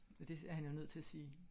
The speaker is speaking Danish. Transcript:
Og det er han jo nødt til at sige